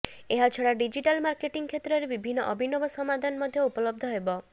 ଏହାଛଡ଼ା digital marketing କ୍ଷେତ୍ରରେ ବିଭିନ୍ନ ଅଭିନବ ସମାଧାନ ମଧ୍ୟ ଉପଲବ୍ଧ ହେବ